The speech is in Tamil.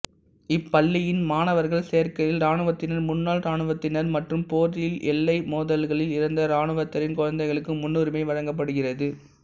இப்பள்ளியின் மாணவர்கள் சேர்க்கையில் இராணுவத்தினர் முன்னாள் இராணுவத்தினர் மற்றும் போரில்எல்லை மோதல்களில் இறந்த இராணுவத்தினரின் குழந்தைகளுக்கு முன்னுரிமை வழங்கப்படுகிறது